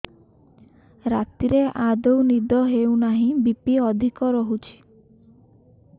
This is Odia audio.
ରାତିରେ ଆଦୌ ନିଦ ହେଉ ନାହିଁ ବି.ପି ଅଧିକ ରହୁଛି